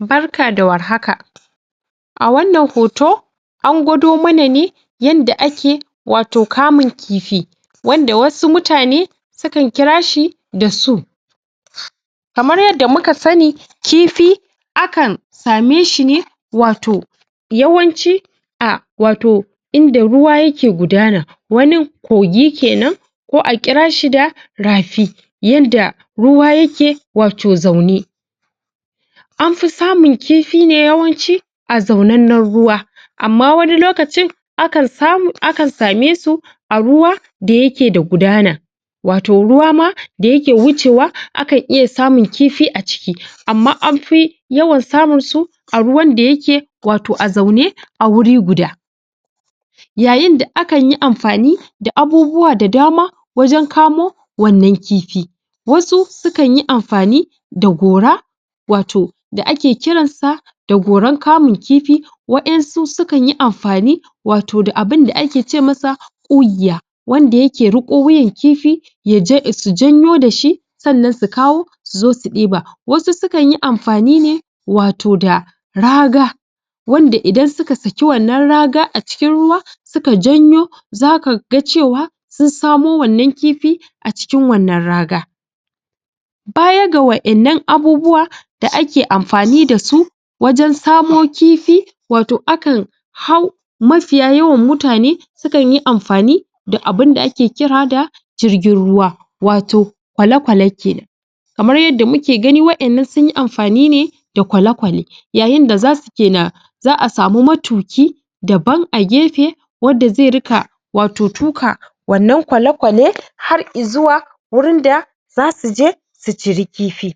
barka da warhaka a wannan hoto an gwado mana ne yanda ake wato kamun kifi wanda wasu mutane su kan kira shi da su? kamar yadda muka sani kifi akan same shi ne wato yawanci a wato inda ruwa yake gudana wanin kogi kenan ko a ƙira shi da rafi yanda ruwa yake wato zaune an fi samun kifi ne yawanci a zaunen nan ruwa amma wani lokacin akan samu akan same su a ruwa da yake da gudana wato ruwa ma da yake wucewa akan iya samun kifi a ciki amma an fi yawan samun su a ruwan da yake wato a zaune a wuri guda yayin da akan yi amfani da abubuwa da dama wajen kamo wannan kifi wasu su kan yi amfani da gora wato da ake kiransa da goran kamun kifi wa'ensu sukanyi amfani wato da abinda ake ce masa ƙugiya wanda yake riƙo wuyan kifi yaje su janyo dashi sannan su kawo suzo su ɗiba wasu su kan yi amfani ne wato da raga wanda idan suka saki wannan raga a cikin ruwa su ka janyo zaka ga cewa sun samo wannan kifi a cikin wannan raga baya ga wa'innan abubuwa da ake amfani dasu wajen samo kifi wato akan hau mafiya yawan mutane su kanyi amfani da abunda ake kira da jirgin ruwa wato kwale kwale kenan kamar yadda muke gani wa'innan sunyi amfani ne da kwale kwale yayin da zasu ke na za'a sami matuki daban a gefe wadda ze rika wato tuka wannan kwale kwale har izuwa wurin da zasuje su ciri kifi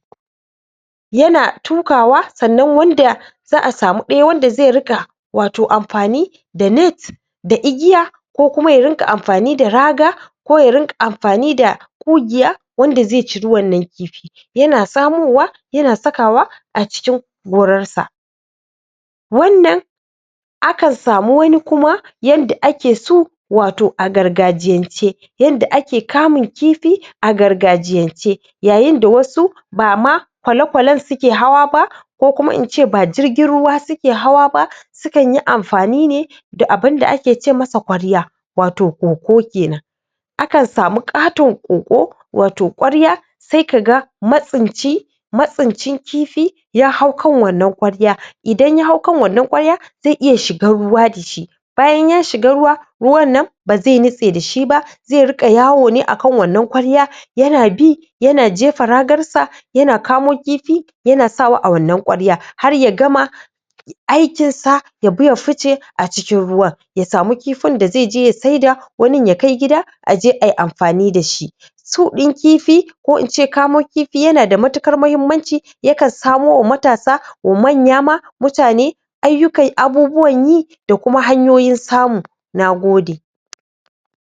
yana tukawa sannan wanda za'a samu ɗaya wanda ze riƙa wato amfani da net da igiya ko kuma ya rinƙa amfani da raga ko ya rinƙa amfani da ƙugiya wanda ze ciri wannan kifi yana samowa yana sakawa a cikin gorarsa wannan akan samu wani kuma yanda ake so wato a gargajiyance yanda ake kamun kifi a gargajiyance yayin da wasu bama kwale kwalen suke hawa ba ko kuma ince ba jirgin ruwa suke hawa ba su kanyi amfani ne da abinda ake ce masa ƙwarya wato koko kenan akan samu ƙaton koƙo wato ƙwarya sai kaga matsinci matsincin kifi ya hau kan wannan ƙwarya idan ya hau kan wannan ƙwarya zai iya shigan ruwa dashi bayan ya shiga ruwa ruwan nan bazai nitse dashi ba ze riƙa yawo ne akan wannan kwarya yana bi yana jefa ragarsa yana kamo kifi yana sawa a wannan ƙwarya har ya gama aikin sa ya bi ya fice a cikin ruwan ya samu kifin da ze je ya sai da wanin ya kai gida aje ai amfani dashi su ɗin kifi ko ince kamo kifi yana da matukar mahimmanci ya kan samo wa matasa ko manya ma mutane ayyuka abubuwan yi da kuma hanyoyin samu nagode?